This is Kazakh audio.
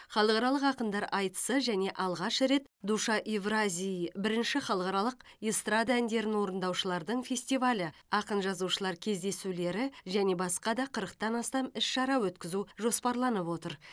халықаралық ақындар айтысы және алғаш рет душа евразии бірінші халықаралық эстрада әндерін орындаушылардың фестивалі ақын жазушылар кездесулері және басқа да қырықтан астам іс шара өткізу жоспарланып отыр